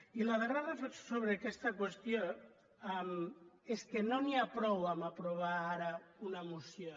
i la darrera reflexió sobre aquesta qüestió és que no n’hi ha prou a aprovar ara una moció